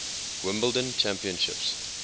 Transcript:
wimbledon champions